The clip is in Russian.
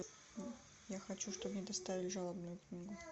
я хочу чтобы мне доставили жалобную книгу